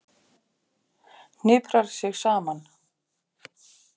Hniprar sig saman.